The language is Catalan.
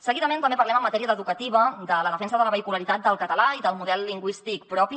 seguidament també parlem en matèria educativa de la defensa de la vehicularitat del català i del model lingüístic propi